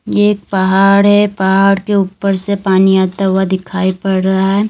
ये एक पहाड़ है पहाड़ के ऊपर से पानी आता हुआ दिखाई पड़ रहा है।